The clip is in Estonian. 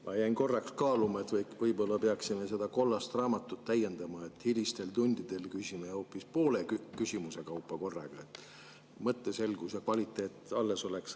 Ma jäin korraks kaaluma, et võib-olla peaksime seda kollast raamatut täiendama ja hilistel tundidel küsima hoopis poole küsimuse kaupa korraga, et mõtteselgus ja kvaliteet alles oleks.